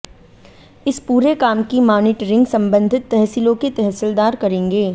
इस पूरे काम की मानीटरिंग संबंधित तहसीलों के तहसीलदार करेंगे